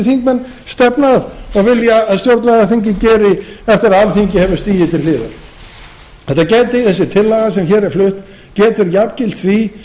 þingmenn stefna að og vilja að stjórnlagaþingið geri eftir að alþingi hefur stigið til hliðar þessi tillaga sem hér er flutt getur jafngilt því